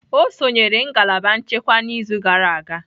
Ọ sonyeere ngalaba nchekwa n'izu gara aga